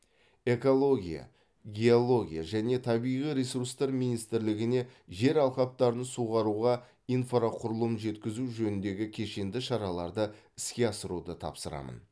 экология геология және табиғи ресурстар министрлігіне жер алқаптарын суғаруға инфрақұрылым жеткізу жөніндегі кешенді шараларды іске асыруды тапсырамын